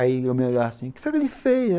Aí eu me olhava assim, o que foi que ele fez?